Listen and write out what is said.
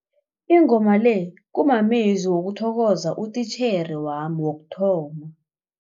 Ingoma le kumamezwi wokuthokoza utitjhere wami wokuthoma.